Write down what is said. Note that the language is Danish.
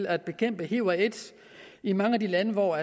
at bekæmpe hiv og aids i mange af de lande hvor